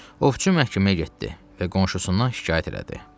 Ovçu məhkəməyə getdi və qonşusundan şikayət elədi.